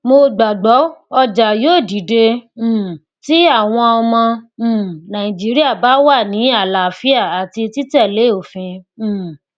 mo gbàgbọ ọjà yóò dìde um tí àwọn ọmọ um nàìjíríà bá wà ní àlàáfíà àti títẹlé òfin um